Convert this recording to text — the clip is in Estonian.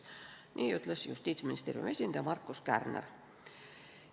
Nii ütles Justiitsministeeriumi esindaja Markus Kärner.